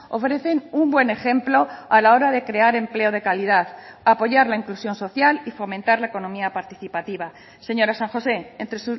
ofrecen un buen ejemplo a la hora de crear empleo de calidad apoyar la inclusión social y fomentar la economía participativa señora san josé entre